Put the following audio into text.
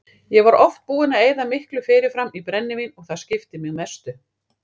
Ég var oft búinn að eyða miklu fyrirfram í brennivín og það skipti mig mestu.